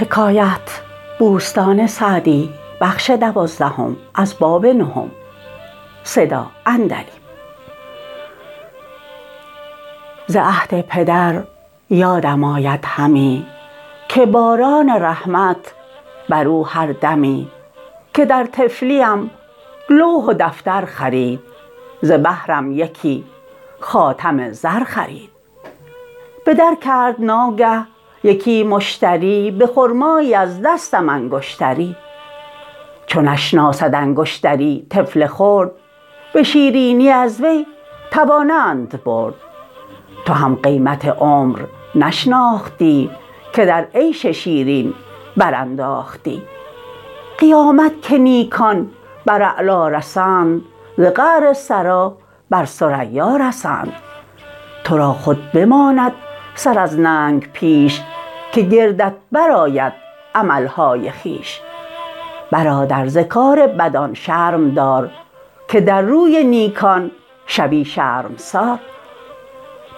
ز عهد پدر یادم آید همی که باران رحمت بر او هر دمی که در طفلیم لوح و دفتر خرید ز بهرم یکی خاتم زر خرید به در کرد ناگه یکی مشتری به خرمایی از دستم انگشتری چو نشناسد انگشتری طفل خرد به شیرینی از وی توانند برد تو هم قیمت عمر نشناختی که در عیش شیرین برانداختی قیامت که نیکان بر اعلا رسند ز قعر ثری بر ثریا رسند تو را خود بماند سر از ننگ پیش که گردت برآید عملهای خویش برادر ز کار بدان شرم دار که در روی نیکان شوی شرمسار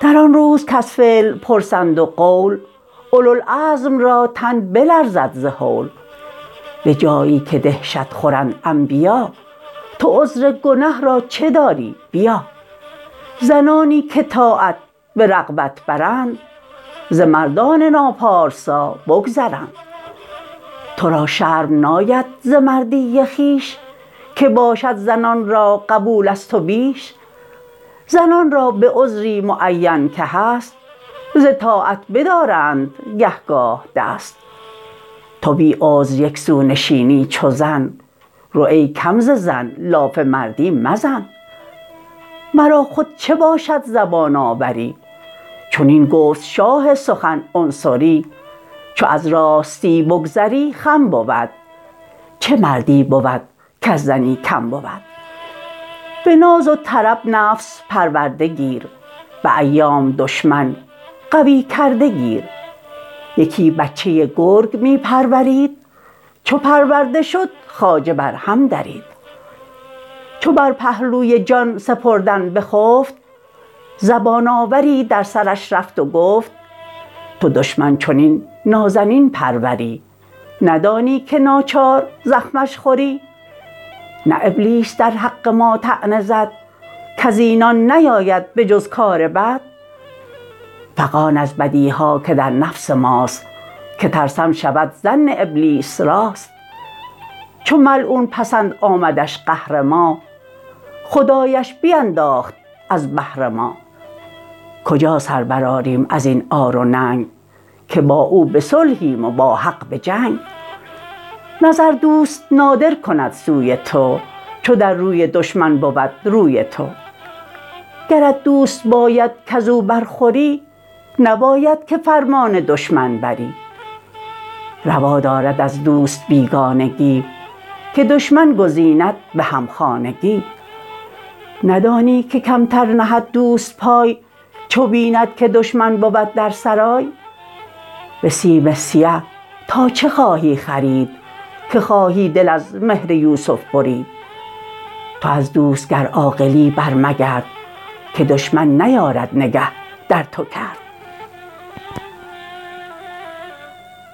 در آن روز کز فعل پرسند و قول اولوالعزم را تن بلرزد ز هول به جایی که دهشت خورند انبیا تو عذر گنه را چه داری بیا زنانی که طاعت به رغبت برند ز مردان ناپارسا بگذرند تو را شرم ناید ز مردی خویش که باشد زنان را قبول از تو بیش زنان را به عذری معین که هست ز طاعت بدارند گه گاه دست تو بی عذر یک سو نشینی چو زن رو ای کم ز زن لاف مردی مزن مرا خود چه باشد زبان آوری چنین گفت شاه سخن عنصری چو از راستی بگذری خم بود چه مردی بود کز زنی کم بود به ناز و طرب نفس پرورده گیر به ایام دشمن قوی کرده گیر یکی بچه گرگ می پرورید چو پرورده شد خواجه بر هم درید چو بر پهلوی جان سپردن بخفت زبان آوری در سرش رفت و گفت تو دشمن چنین نازنین پروری ندانی که ناچار زخمش خوری نه ابلیس در حق ما طعنه زد کز اینان نیاید به جز کار بد فغان از بدیها که در نفس ماست که ترسم شود ظن ابلیس راست چو ملعون پسند آمدش قهر ما خدایش بینداخت از بهر ما کجا سر برآریم از این عار و ننگ که با او به صلحیم و با حق به جنگ نظر دوست نادر کند سوی تو چو در روی دشمن بود روی تو گرت دوست باید کز او بر خوری نباید که فرمان دشمن بری روا دارد از دوست بیگانگی که دشمن گزیند به همخانگی ندانی که کمتر نهد دوست پای چو بیند که دشمن بود در سرای به سیم سیه تا چه خواهی خرید که خواهی دل از مهر یوسف برید تو از دوست گر عاقلی بر مگرد که دشمن نیارد نگه در تو کرد